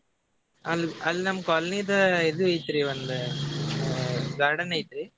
ಅಲ್ಲ್ ಅಲ್ಲಿ ನಮ್ಮ್ colony ದು ಇದು ಐತ್ರಿ ಒಂದ garden ಐತಿ.